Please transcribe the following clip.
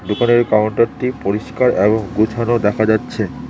উপরের কাউন্টারটি পরিষ্কার এবং গুছানো দেখা যাচ্ছে।